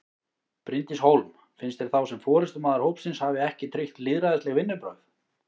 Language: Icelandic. Bryndís Hólm: Finnst þér þá sem forystumaður hópsins hafi ekki tryggt lýðræðisleg vinnubrögð?